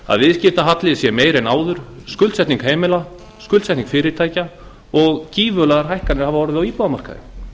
að viðskiptahalli sé meiri en áður skuldsetning heimila skuldsetning fyrirtækja og gífurlegar hækkanir hafa orðið á íbúðamarkaði